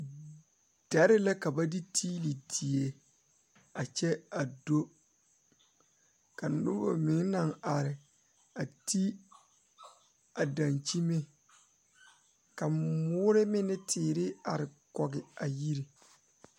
Bibiiri dɔɔba ne Pɔgeba la be sori kaŋa poɔ ka teere yaga yaga a be a be ka yiri kaŋa meŋ are a ba puori kyɛ kaa bie kaŋa seɛ kuri a su kparo ko'o zage zage kyɛ koo wiɛ o nyɛmɛ a bare.